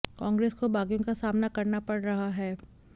कांग्रेस को बागियों का सामना करना पड़ रहा है